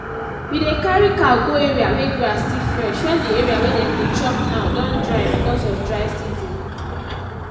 we dey carry cow go area where grass still fresh wen the area wey dem dey chop now don dry because of dry season.